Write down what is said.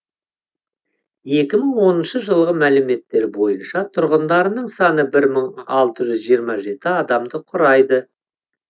екі мың оныншы жылғы мәліметтер бойынша тұрғындарының саны бір мың алты жүз жиырма жеті адамды құрайды